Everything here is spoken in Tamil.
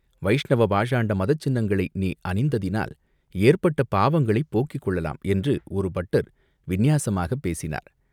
வைஷ்ணவ பாஷாண்ட மதசின்னங்களை நீ அணிந்ததினால் ஏற்பட்ட பாவங்களையும் போக்கிக் கொள்ளலாம்!" என்று ஒரு பட்டர் விந்நியாசமாகப் பேசினார்.